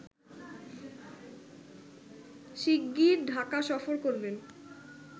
শিগগির ঢাকা সফর করবেন